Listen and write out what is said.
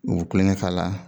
O be kulonkɛ k'a la